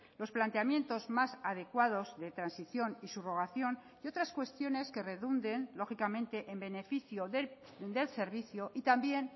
los planteamientos más adecuados de transición y subrogación y otras cuestiones que redunden lógicamente en beneficio del servicio y también